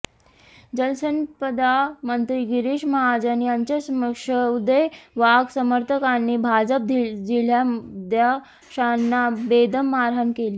जलसंपदा मंत्री गिरीश महाजन यांच्यासमक्ष उदय वाघ समर्थकांनी भाजप जिल्हाध्यक्षांना बेदम मारहाण केली